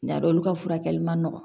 N y'a dɔn olu ka furakɛli man nɔgɔn